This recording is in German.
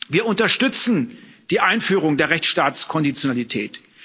Wir unterstützen die Einführung der Rechtsstaatskonditionalität.